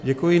Děkuji.